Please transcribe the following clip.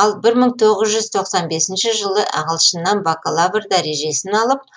ал бір мың тоғыз жүз тоқсан бесінші жылы ағылшыннан бакалавр дәрежесін алып